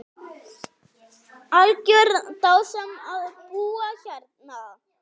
Algjör dásemd að búa hérna.